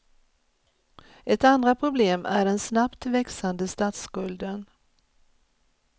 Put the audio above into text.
Ett andra problem är den snabbt växande statsskulden.